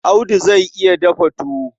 Audu zai iya dafa tuwo.